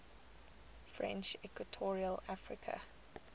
french equatorial africa